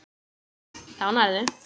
Þá nærðu.